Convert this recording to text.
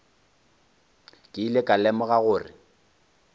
ke ile ka lemoga gore